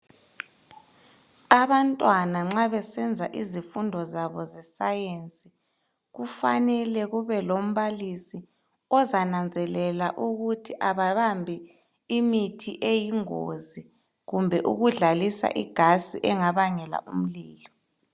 Abantwana nxa besenza izifundo zabo zescience kufanele kubelombalisi ozananzelela ukuthi abambi imithi eyingozi kumbe ukudlalisa igasi engabangela umlilo